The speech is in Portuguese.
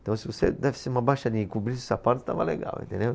Então se você desse uma baixadinha e cobrisse os sapatos, tava legal, entendeu?